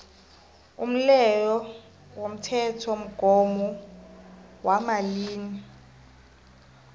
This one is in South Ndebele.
umleyo womthethomgomo wamalimi